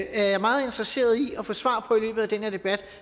er jeg meget interesseret i at få svar på i løbet af den her debat